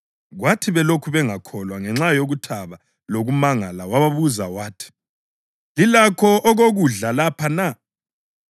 Kwathi belokhu bengakholwa ngenxa yokuthaba lokumangala wababuza wathi, “Lilakho okokudla lapha na?”